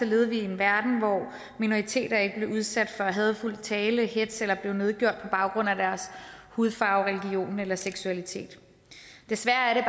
levede vi i en verden hvor minoriteter ikke blev udsat for hadefuld tale eller hetz eller blev nedgjort på baggrund af deres hudfarve religion eller seksualitet desværre er det